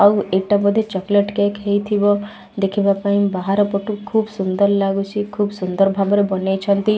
ଆଉ ଏଟା ଗୋଟେ ଚକୋଲେଟ କେକ୍କ ସପ୍ ହେଇ ଥିବ ଦେଖିବା ପାଇଁ ବାହାର ପଟୁ ଖୁବ୍ ସୁନ୍ଦର ଲାଗୁଛି ଖୁବ୍ ସୁନ୍ଦର ଭାବରେ ବନେଇ ଛନ୍ତି।